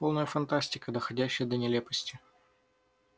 полная фантастика доходящая до нелепости